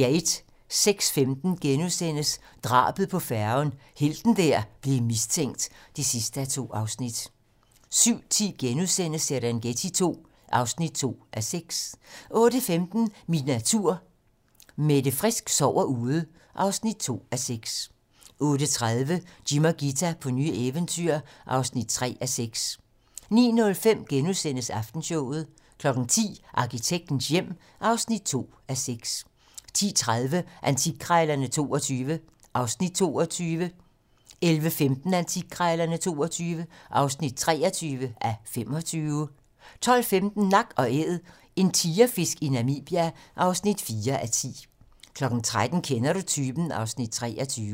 06:15: Drabet på færgen - helten der blev mistænkt (2:2)* 07:10: Serengeti II (2:6)* 08:15: Min natur - Mette Frisk sover ude (2:6) 08:30: Jim og Ghita på nye eventyr (3:6) 09:05: Aftenshowet * 10:00: Arkitektens hjem (2:6) 10:30: Antikkrejlerne XXII (22:25) 11:15: Antikkrejlerne XXII (23:25) 12:15: Nak & Æd - en tigerfisk i Namibia (4:10) 13:00: Kender du typen? (Afs. 23)